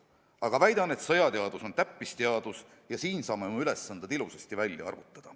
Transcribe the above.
Aga väidan, et sõjateadus on täppisteadus ja siin saame oma ülesanded ilusasti välja arvutada.